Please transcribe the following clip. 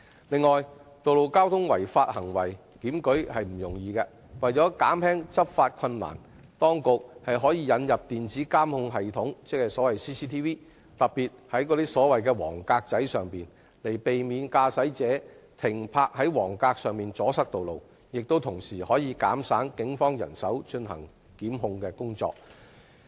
此外，道路交通違法行為檢舉不易，為了解決執法困難，當局可引入電子監控系統，特別是設置在黃格位置，避免駕駛者在黃格停泊而阻塞道路，同時也可減省警方的檢控人手和工作。